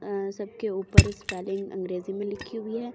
सबके ऊपर स्पेलिंग अंग्रेजी में लिखी हुई है।